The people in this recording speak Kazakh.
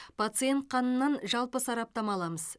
пациент қанынан жалпы сараптама аламыз